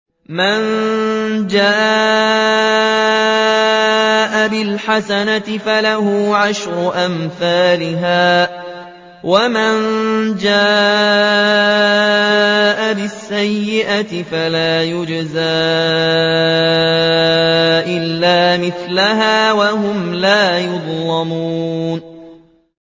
مَن جَاءَ بِالْحَسَنَةِ فَلَهُ عَشْرُ أَمْثَالِهَا ۖ وَمَن جَاءَ بِالسَّيِّئَةِ فَلَا يُجْزَىٰ إِلَّا مِثْلَهَا وَهُمْ لَا يُظْلَمُونَ